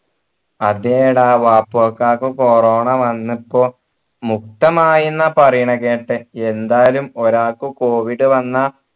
അതേടാ വാപ്പാക്ക് corona വന്നപ്പോ മുക്തമായിന്ന പറീണെ കേട്ടെ എന്തായാലും ഒരാൾക്ക് covid വന്ന